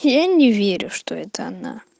я не верю что это она